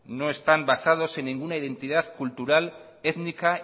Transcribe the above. no están basados en ninguna identidad cultural étnica